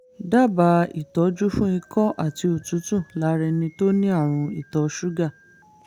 dábàá ìtọ́jú fún ikọ́ àti òtútù lára ẹni tó ní àrùn ìtọ̀ ṣúgà